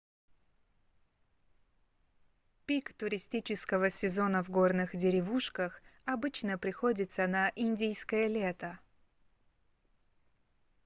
пик туристического сезона в горных деревушках обычно приходится на индийское лето